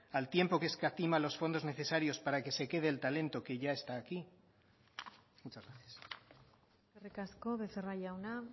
al tiempo que escatima los fondos necesarios para que se quede el talento que ya está aquí muchas gracias eskerrik asko becerra jauna